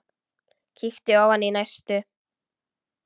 Kíkti ofan í næstu.